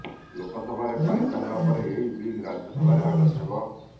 ଲୋକସଭାରେ ପାରିତ ହେବା ପରେ ଏହି ବିଲ ରାଜ୍ୟସଭାରେ ଆଗତ ହେବ